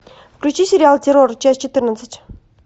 включи сериал террор часть четырнадцать